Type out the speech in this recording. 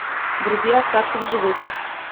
вруби остаться в живых